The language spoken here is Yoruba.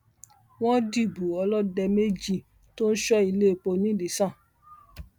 wọn dìgbù ọlọdẹ méjì tó ń sọ iléepo ńìlìsàn